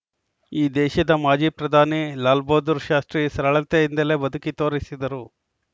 ಈ ದೇಶದ ಮಾಜಿ ಪ್ರಧಾನಿ ಲಾಲ್‌ ಬಹದ್ದೂರ್‌ಶಾಸ್ತ್ರಿ ಸರಳತೆಯಿಂದಲೇ ಬದುಕಿ ತೋರಿಸಿದರು